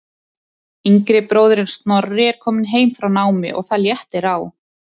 Yngri bróðirinn Snorri er kominn heim frá námi og það léttir á.